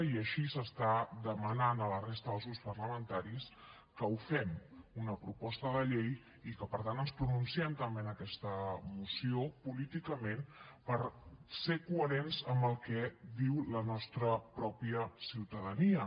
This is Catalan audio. i així s’està demanant a la resta dels grups parlamentaris que ho fem una proposta de llei i que per tant ens pronunciem també en aquesta moció políticament per ser coherents amb el que diu la nostra pròpia ciutadania